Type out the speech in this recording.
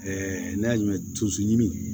n'a y'a mɛn tuzuru ɲimi